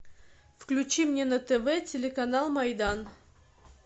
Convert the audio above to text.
включи мне на тв телеканал майдан